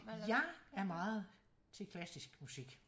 Jeg er meget til klassisk musik